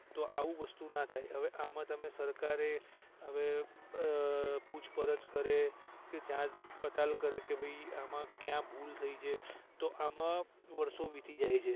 તો આવું વસ્તુ ના થાય અવે આમાં તમે સરકારએ હવે અ અ પૂછપરછ કરે કે જાચપડતાલ કરે કે ભઇ આમાં કયા ભૂલ થઈ છે તો આમાં વર્ષો વીતી જાય છે